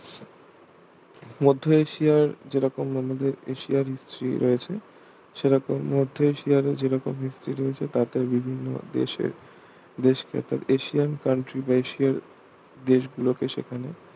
মধ্য এশিয়ার যেরকম আমাদের এশিয়ার history রয়েছে সেরকম মধ্য এশিয়ারও যেরকম history রয়েছে তাতেই বিভিন্ন দেশের দেশকে অর্থাৎ এশিয়ান country বা এশিয়ার দেশগুলোকে সেখানে